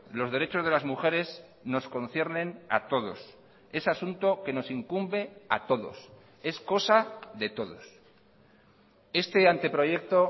los derechos de las mujeres nos conciernen a todos ese asunto que nos incumbe a todos es cosa de todos este anteproyecto